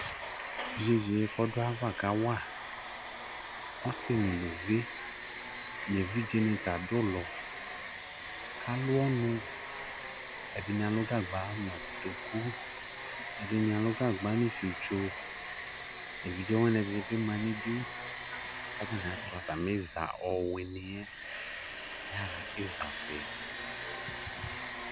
Yeye kɔdo ava kawa ɔse no aluvi evidze ne ta ado ulɔ kalu ɔnu Ɛdene alu gagba no kotoku, ɛdrne alu gagba no fietso Evidze wwane ɛdene be ma nidu ka atane ato atame iza ɔweniɛ yaha iza fi